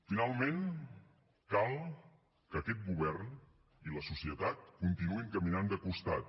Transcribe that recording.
finalment cal que aquest govern i la societat continuïn caminant de costat